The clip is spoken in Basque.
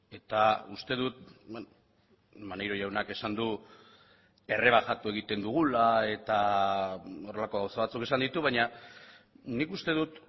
eta uste dut maneiro jaunak esan du errebajatu egiten dugula eta horrelako gauza batzuk esan ditu baina nik uste dut